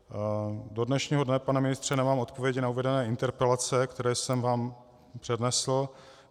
Do dnešního dne, pane ministře, nemám odpověď na uvedené interpelace, které jsem vám přednesl.